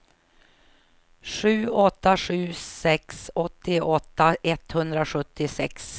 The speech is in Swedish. sju åtta sju sex åttioåtta etthundrasjuttiosex